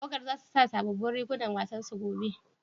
Tawagan za su sa sabobbin rigunan wasan su gobe?